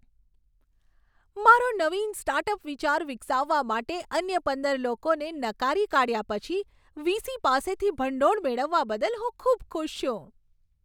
મારો નવીન સ્ટાર્ટઅપ વિચાર વિકસાવવા માટે, અન્ય પંદર લોકોને નકારી કાઢ્યા પછી, વીસી પાસેથી ભંડોળ મેળવવા બદલ હું ખૂબ ખુશ છું.